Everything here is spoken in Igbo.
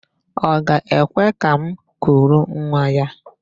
Ọ ga-ekwe ka m kuru nwa ya?